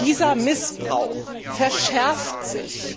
Dieser Missbrauch verschärft sich.